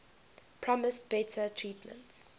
promised better treatment